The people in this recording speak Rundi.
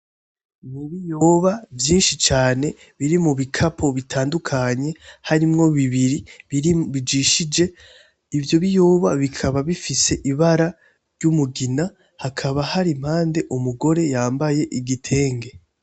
Ibiyoba vyinshi cane biri mubikapo bitandukanye harimwo bibiri bijishije ivyo biyoba bikaba bifise ibara ry'umugina hakaba har'impande umugore yambaye igitenge.